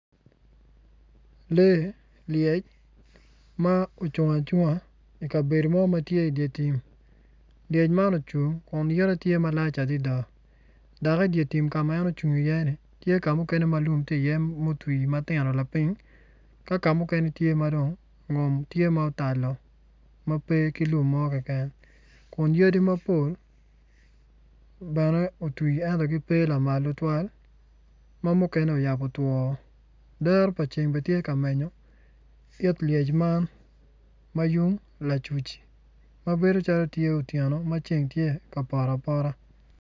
Lee lyec ma ocung acunga i kabedo mo ma tye i dye tim lyec man ocung kun ite tye malac adada dok idye tim ka ma en ocung iye ni tye ka muken ma lium otwi iye lapiny ka kamuken tye ma dong otalo ma pe ki lum mo keken kun yadi mapol otwi ento pe gitye lamal tutwal ma mukene oyabo two woko dero pa ceng bene tye ka menyo it lyec man ma yung lacuc ma bedo calo otyeno ma ceng poto apoto.